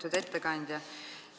Lugupeetud ettekandja!